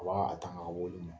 A b'a tanka a weleli ma.